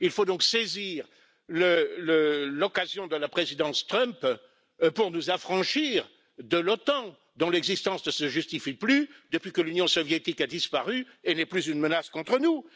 Il faut donc saisir l'occasion de la présidence Trump pour nous affranchir de l'OTAN, dont l'existence ne se justifie plus depuis que l'Union soviétique a disparu et n'est plus une menace contre nous.